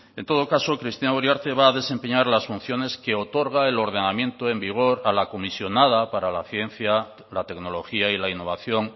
en todo caso cristina uriarte va a desempeñar las funciones que otorga el ordenamiento en vigor a la comisionada para la ciencia la tecnología y la innovación